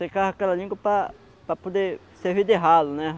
Secava aquela língua para... para poder servir de ralo, né?